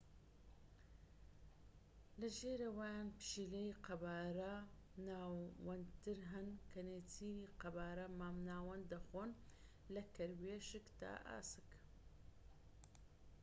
لە ژێرەوەیان پشیلەی قەبارە ناوەندتر هەن کە نێچیری قەبارە مام ناوەند دەخۆن لە کەروێشک تا ئاسک